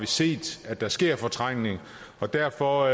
set at der sker en fortrængning og derfor